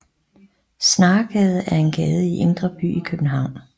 Snaregade er en gade i Indre By i København